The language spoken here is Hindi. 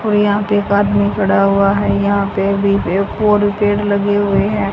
और यहां पे एक आदमी खड़ा हुआ है यहां पे भी पेड़ लगे हुए हैं--